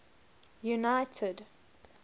united